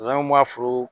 Zonwanw ka foro